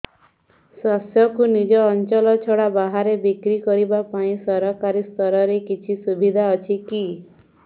ଶସ୍ୟକୁ ନିଜ ଅଞ୍ଚଳ ଛଡା ବାହାରେ ବିକ୍ରି କରିବା ପାଇଁ ସରକାରୀ ସ୍ତରରେ କିଛି ସୁବିଧା ଅଛି କି